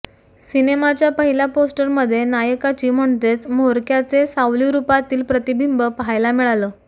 सिनेमाच्या पहिल्या पोस्टरमध्ये नायकाची म्हणजेच म्होरक्याचे सावलीरुपातील प्रतिबिंब पहायला मिळालं